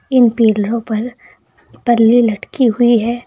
इन पिलरों पर पल्ली लटकी हुई है।